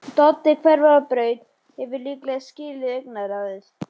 Doddi hverfur á braut, hefur líklega skilið augnaráðið.